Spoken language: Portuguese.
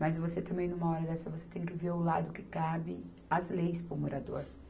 Mas você também, numa hora dessa, você tem que ver o lado que cabe as leis para o morador.